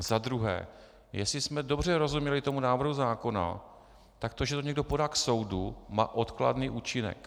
A za druhé, jestli jsme dobře rozuměli tomu návrhu zákona, tak to, že to někdo podá k soudu, má odkladný účinek.